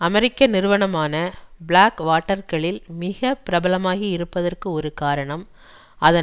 அமெரிக்க நிறுவனமான Blackwater க்களில் மிக பிரபலமாகியிருப்பதற்கு ஒரு காரணம் அதன்